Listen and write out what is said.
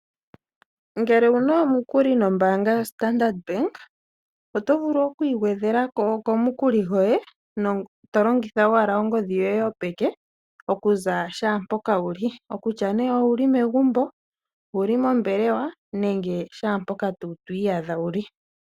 Ngele owuna omukuli nombaanga yoStandard Bank, oto vulu oku igwedhelako komukuli goye tolongitha owala ongodhi yoye yopeke okuza shampoka wuli, okutya ne owuli megumbo, owuli mombelewa, nenge shampoka to iyadha wuli.